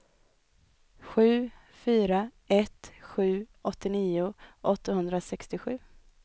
sju fyra ett sju åttionio åttahundrasextiosju